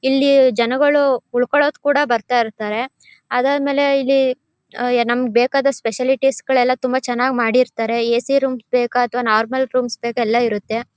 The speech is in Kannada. ಇಲ್ಲಿ ಜನಗಳು ಉಳ್ಕೊಳೋಕೆ ಕೂಡ ಬರ್ತಾ ಇರ್ತಾರೆ ಅದಾದ್ಮೇಲೆ ಇಲ್ಲಿ ಆ ನಮಗೆ ಬೇಕಾದಷ್ಟು ಫೆಸಿಲಿಟೀಸ್ ಗಳೆಲ್ಲ ತುಂಬಾ ಚನ್ನಾಗ್ ಮಾಡಿರ್ತಾರೆ. ಏ.ಸಿ ರೂಮ್ಸ್ ಬೇಕಾ ಅತ್ವ ನಾರ್ಮಲ್ ರೂಮ್ಸ್ ಬೇಕಾ ಎಲ್ಲ ಇರುತ್ತೆ.